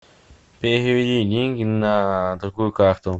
переведи деньги на другую карту